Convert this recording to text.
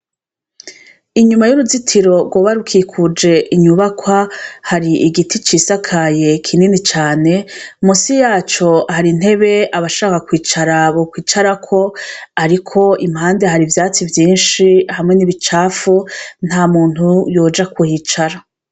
Inyuma y'uruzitiro rgo barwikuje inyubakwa hari igiti cisakaye kinini cane musi yaco hari ntebe abashaka kwicara abo kwicarako, ariko impande hari vyatsi vyinshi hamwe n'ibicafu nta muntu yoja kuhicara.